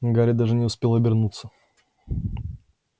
гарри даже не успел обернуться